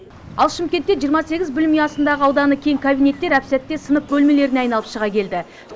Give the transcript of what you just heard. ал шымкентте жиырма сегіз білім ұясындағы ауданы кең кабинеттер әп сәтте сынып бөлмелеріне айналып шыға келді